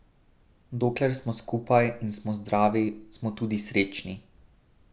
Dokler smo skupaj in smo zdravi, smo tudi srečni.